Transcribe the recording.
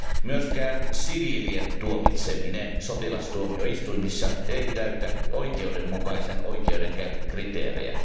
Myöskään siviilien tuomitseminen sotilastuomioistuimissa ei täytä oikeudenmukaisen oikeudenkäynnin kriteerejä.